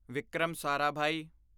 Vikram Sarabhai